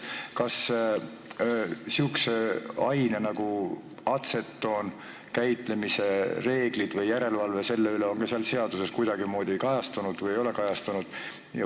Kas sellise aine nagu atsetoon käitlemise reeglid või järelevalve selle üle on ka selles seaduses kuidagimoodi kajastatud või ei ole?